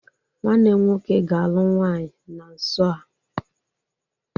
Nwanne m nwoke ga-alụ nwaanyị na nso a.